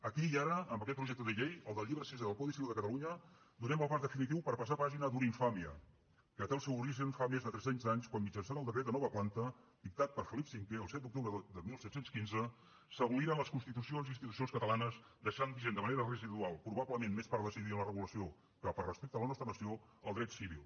aquí i ara amb aquest projecte de llei el del llibre sisè del codi civil de catalunya donem el pas definitiu per passar pàgina d’una infàmia que té el seu origen fa més de trescents anys quan mitjançant el decret de nova planta dictat per felip v el set d’octubre de disset deu cinc s’aboliren les constitucions i institucions catalanes i es deixà vigent de manera residual probablement més per desídia en la regulació que per respecte a la nostra nació el dret civil